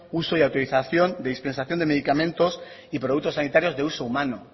uso y autorización de dispensación de medicamentos y productos sanitarios de uso humano